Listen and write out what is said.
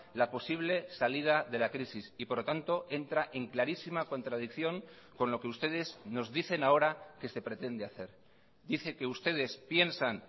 la posible salida de la crisis y por lo tanto entra en clarísima contradicción con lo que ustedes nos dicen ahora que se pretende hacer dice que ustedes piensan